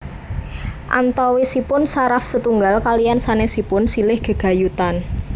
Antawisipun saraf setunggal kaliyan sanèsipun silih gegayutan